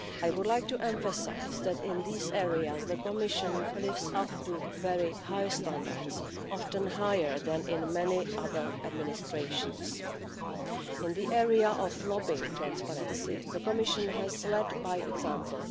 I would like to emphasise that, in these areas, the Commission lives up to very high standards, often higher than in many other administrations. In the area of lobbying transparency, the Commission has led by example.